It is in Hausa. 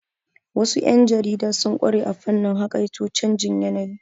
Wasu yan jarida sun ƙware a fannin haƙaito canjin yanayi.